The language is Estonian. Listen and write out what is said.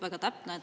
Väga täpne.